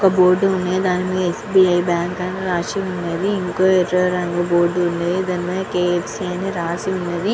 ఒక బోర్డు వుంద్గి దాని మేధా యెస్బిఐ బ్యాంకు అని రాసు వుంది ఒక ఎర్ర రంగు బోర్డు వున్నది దాని పైన క్ఫ్క్ అని రాసి వున్నది.